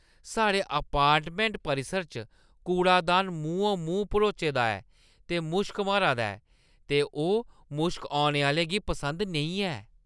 साढ़े अपार्टमैंट परिसर च कूड़ादान मूंहों-मूंह् भरोचे दा ऐ ते मुश्क मारा दा ऐ ते ओह् मुश्क औने आह्‌लें गी पसंद नेईं ऐ।